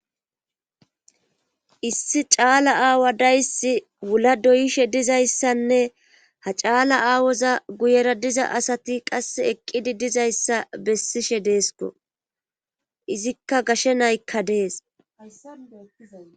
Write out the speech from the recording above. issi caala aawa dayssi wula doyishe dizayssanne ha caala aawoza guyera diza asati qas eqqidi dizayssa bessishe deesko izikka gashe naykka dees